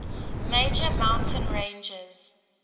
major mountain ranges